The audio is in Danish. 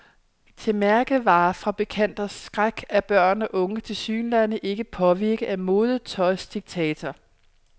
Til mærkevarefabrikanters skræk er børn og unge tilsyneladende ikke påvirket af modetøjsdiktater.